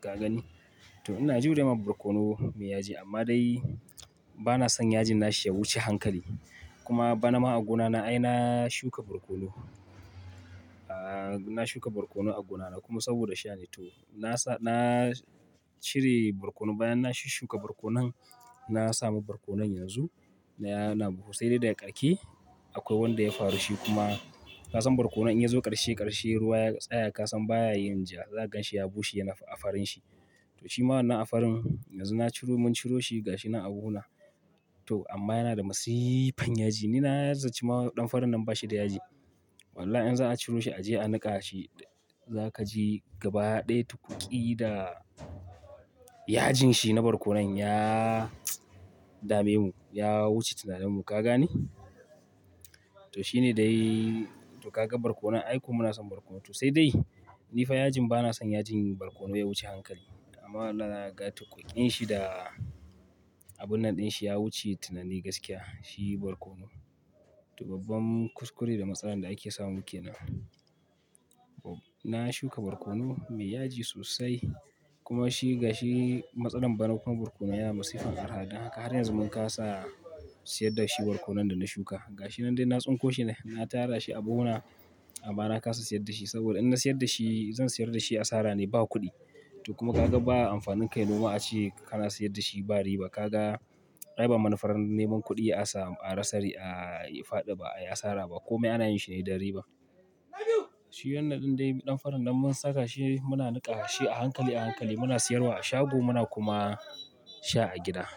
Ka gani? To ina jurewa barkono mai yaji amma dai ba na son yajin na shi ya wuce hankali. Kuma bana ma a gona na. Ai na shuka barkono. Na shuka barkono a gona na kuma saboda sha ne to. Na sa-- na cire barkono bayan na shushuka barkonon na sami barkonon yanzu. Yana buhu sai dai daga ƙarke akwai wanda ya faru shi kuma ka san barkono in ya zo ƙarshe ƙarshe ruwa ya tsaya ka san baya yin ja. Za ka gan shi ya bushe yana a farin shi. To shi ma wannan a farin yanzu na ciro mun ciro shi ga shi na a gona. To amma yana da masiiifan yaji. Ni na zaici ma ɗan farin nan ba shi da yaji. Wallahi in za a ciro shi a je a niƙa shi za ka ji gaba ɗaya tukuki da yajin shi na barkono ya dame mu. Ya wuce tunanin mu. Ka gani? To shi ne dai. To ka ga barkono. Ai kuma mu na son barkono to sai dai ni fa yajin ba na son yajin barkono ya wuce hankali. Amma wallahi zakaga tukukin shi da abun nan dinshi ya wuce tunani gaskiya to babban kuskure da matsalan da ake samu kenan na shuka barkono mai yaji sosai kuma shi ga shi matsalar bana kuma barkono yana masifan araha. Dan haka har yanzu mun kasa siyar da shi barkono da na shuka. Ga shi nan dai na tsinko shi ne, na tara shi a buhuna amma na kasa siyar da shi. Saboda in na siyar da shi, zan siyar da shi asara ne ba kuɗi. To kuma ka ga ba a amfanin kayi nima ace kana siyar da shi ba riba. Ka ga ai ba manufar neman kuɗi a sami a rasari a faɗi ba ai asara ba. Komai ana yin shi ne da riba. Shi wannan ɗin dai ɗan farin nan mun saka shi muna niƙa shi a hankali a hankali muna siyarwa a shago muna kuma sha a gida.